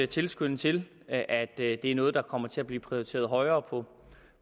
tilskynde til at at det er noget der kommer til at blive prioriteret højere på